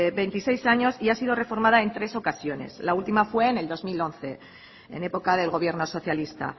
veintiséis años y ha sido reformada en tres ocasiones la última fue en el dos mil once en época del gobierno socialista